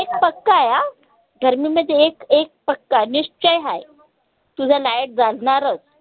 एक पक्क आय अं गर्मीमध्ये एक एक पक्क आय निश्चय हाय की, बा light जानारच